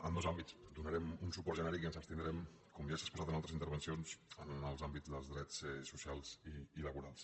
en dos àmbits donarem un suport genèric i ens abstindrem com ja s’ha exposat en altres intervencions en els àmbits dels drets socials i laborals